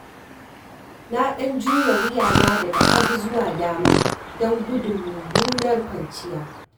Na ɗan juya wuyana daga hagu zuwa dama don gudun mummunar kwanciya.